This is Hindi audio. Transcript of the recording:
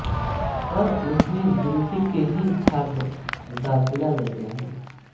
पर उसमें गिनती के ही छात्र दाखिला लेते हैं